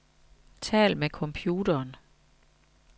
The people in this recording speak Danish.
Tal med computeren.